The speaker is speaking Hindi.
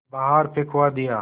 बाहर फिंकवा दिया